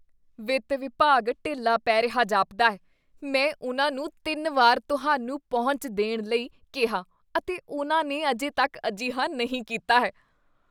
ਵਿੱਤ ਵਿਭਾਗ ਢਿੱਲਾ ਪੈ ਰਿਹਾ ਜਾਪਦਾ ਹੈ ਮੈਂ ਉਨ੍ਹਾਂ ਨੂੰ ਤਿੰਨ ਵਾਰ ਤੁਹਾਨੂੰ ਪਹੁੰਚ ਦੇਣ ਲਈ ਕਿਹਾ ਅਤੇ ਉਨ੍ਹਾਂ ਨੇ ਅਜੇ ਤੱਕ ਅਜਿਹਾ ਨਹੀਂ ਕੀਤਾ ਹੈ